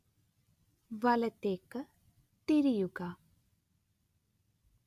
വലത്തേക്ക് തിരിയുക